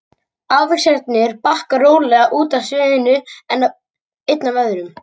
Ávextirnir bakka rólega út af sviðinu einn af öðrum.